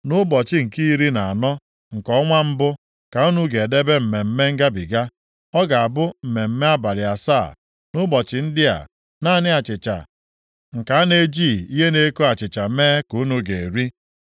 “ ‘Nʼụbọchị nke iri na anọ nke ọnwa mbụ, ka unu ga-edebe Mmemme Ngabiga. Ọ ga-abụ mmemme abalị asaa. Nʼụbọchị ndị a, naanị achịcha nke a na-ejighị ihe na-eko achịcha mee ka unu ga-eri.